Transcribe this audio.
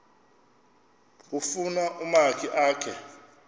kufuna umakhi akhe